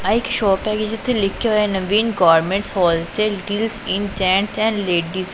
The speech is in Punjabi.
ਆ ਇਕ ਸ਼ੋਪ ਹੈਗੀ ਜਿੱਥੇ ਲਿਖਿਆ ਹੋਇਐ Naveen garments wholesale deals in gents and ladies.